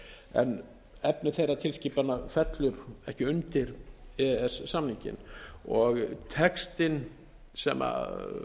en efni þeirra tilskipana fellur ekki undir e e s samninginn og textinn sem